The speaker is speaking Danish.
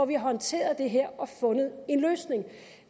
vi håndteret det her og fundet en løsning